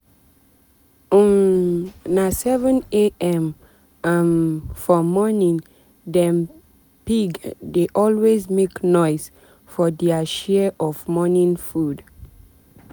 um na 7am um for morningdem pig dey always make noise for dia share of um morning food.